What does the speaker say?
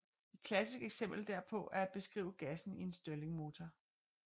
Et klassisk eksempel derpå er at beskrive gassen i en Stirlingmotor